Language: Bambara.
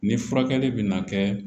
Ni furakɛli bɛ na kɛ